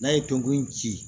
N'a ye gongon in ci